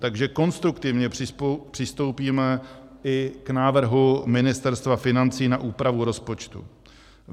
Takže konstruktivně přistoupíme i k návrhu Ministerstva financí na úpravu rozpočtu.